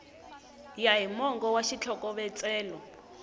ya hi mongo wa xitlhokovetselo